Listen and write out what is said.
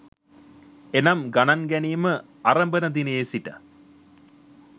එනම් ගණන් ගැනීම අරඹන දිනයේ සිට